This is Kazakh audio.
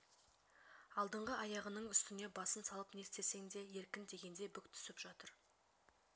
алдыңғы аяғының үстіне басын салып не істесең де еркің дегендей бүк түсіп жатыр